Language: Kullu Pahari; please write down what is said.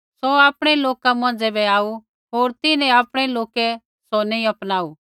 सौ आपणै लोका यहूदी मौंझ़ै बै आऊ होर तिन्हैं आपणै लोकै सौ नैंई अपनाऊ